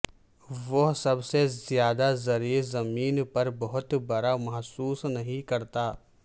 وہ سب سے زیادہ زرعی زمین پر بہت برا محسوس نہیں کرتا